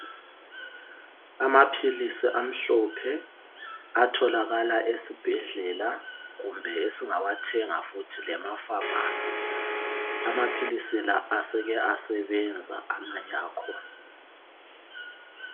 Amaphilisi amhlophe atholakala esibhedlela kumbe esingawathenga futhi lema famasi. Amaphilisi la aseke asebenza amanye akhona.